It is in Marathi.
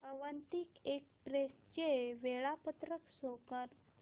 अवंतिका एक्सप्रेस चे वेळापत्रक शो कर